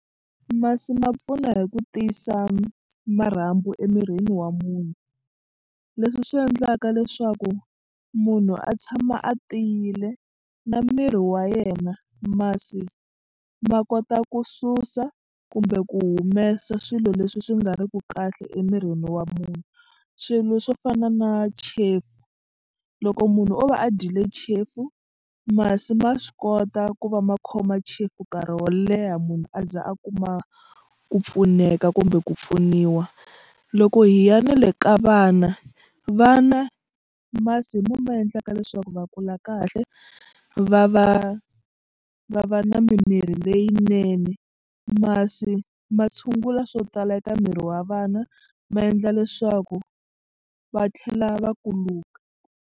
Masi ma pfuna hi ku tiyisa marhambu emirini wa munhu leswi swi endlaka leswaku munhu a tshama a tiyile na miri wa yena. Masi ma kota ku susa kumbe ku humesa swilo leswi swi nga ri ki kahle emirini wa munhu swilo swo fana na chefu loko munhu o va a dyile chefu masi ma swi kota ku va ma khoma chefu nkarhi wo leha munhu a za a kuma ku pfuneka kumbe ku pfuniwa. Loko hi ya na le ka vana vana masi hi mo ma endlaka leswaku va kula kahle va va va va na mimiri leyinene masi ma tshungula swo tala eka miri wa vana ma endla leswaku va tlhela va kuluka.